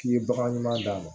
K'i ye bagan ɲuman d'a ma